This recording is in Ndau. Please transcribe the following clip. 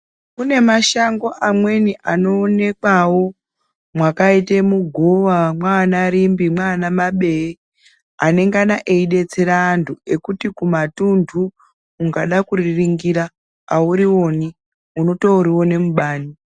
Kune mashango amweni anoonekwavo mwakaite mugova mwaana Rimbi mwaana Mabee anenge eidetsera antu ekuti kumatuntu ukada kuriringira auriwani unotoriona mubani.